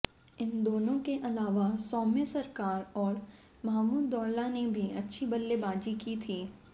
इन दोनों के अलावा सौम्य सरकार और महामदुल्लाह ने भी अच्छी बल्लेबाजी की थी